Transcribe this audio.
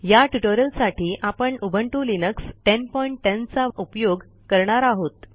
या ट्युटोरियलसाठी आपण उबुंटू लिनक्स1010 चा उपयोग करणार आहोत